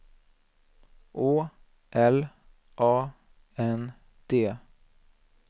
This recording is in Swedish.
Å L A N D